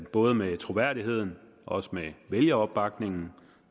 både med troværdigheden og også med vælgeropbakningen